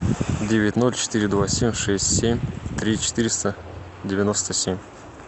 девять ноль четыре два семь шесть семь три четыреста девяносто семь